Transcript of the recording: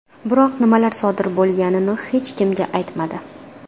Biroq nimalar sodir bo‘lganini hech kimga aytmadi .